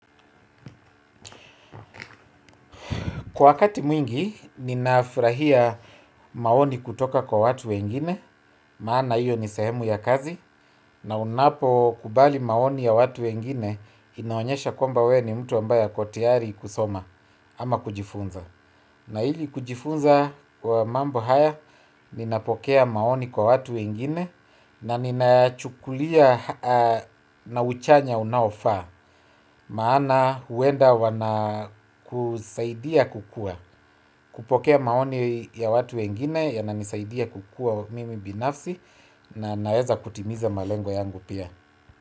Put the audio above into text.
Wakati mwingi, ninafurahia maoni kutoka kwa watu wengine, maana hiyo ni sehemu ya kazi, na unapokubali maoni ya watu wengine, inaonyesha kwamba wewe ni mtu ambaye ako tayari kusoma ama kujifunza. Na ili kujifunza kwa mambo haya, ninapokea maoni kwa watu wengine, na ninayachukulia na uchanya unaofaa, maana huenda wana kusaidia kukua, kupokea maoni ya watu wengine, yananisaidia kukua mimi binafsi, na naweza kutimiza malengo yangu pia.